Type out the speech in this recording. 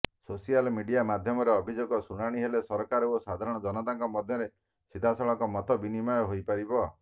social media ମାଧ୍ୟମରେ ଅଭିଯୋଗ ଶୁଣାଣି ହେଲେ ସରକାର ଓ ସାଧାରଣ ଜନତାଙ୍କ ମଧ୍ୟରେ ସିଧାସଳଖ ମତବିନିମୟ ହୋଇପାରିବ